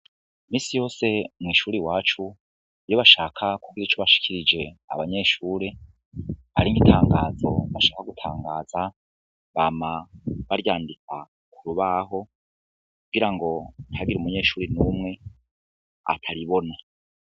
Imisi yose mwi shuri iwacu iyo bashaka kugira ico bashikirije abanyeshure ari nk' itangazo bashaka gutangaza bama baryandika ku rubaho kugira ngo ntihagire umunyeshure numwe ataribona.